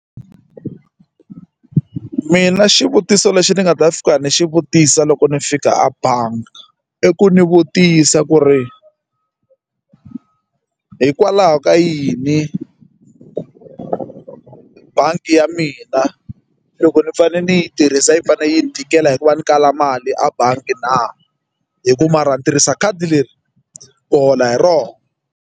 Mina xivutiso lexi ni nga ta fika ni xi vutisa loko ni fika a bangi i ku ni vutisa ku ri hikwalaho ka yini bangi ya mina loko ni fanele ni yi tirhisa yi fanele yi ni tikela hi ku va ni kala mali a bangi na hi ku mara a ni tirhisa khadi leri ku hola hi rona.